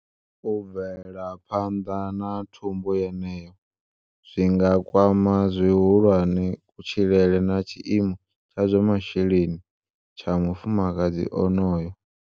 U bvela phanḓa na thumbu yeneyo zwi nga kwama zwihulwane kutshilele na tshiimo tsha zwa masheleni tsha mufumakadzi onoyo.